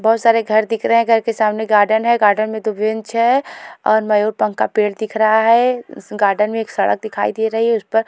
बहुत सारे घर दिख रहे हैं घर के सामने गार्डन है गार्डन में दो बेंच है और मयूर पंख का पेड़ दिख रहा है गार्डन में एक सड़क दिखाई दे रही है उस पर --